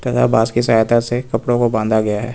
यह बांस की सहायता से कपड़ो को बांधा गया है।